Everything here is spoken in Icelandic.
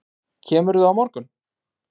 Kemurðu á morgun?